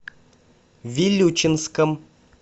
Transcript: вилючинском